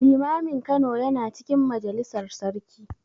Limamin Kano yana cikin majalisar sarki.